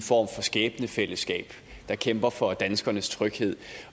form for skæbnefællesskab der kæmper for danskernes tryghed